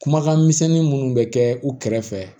Kumakan misɛnnin minnu bɛ kɛ u kɛrɛfɛ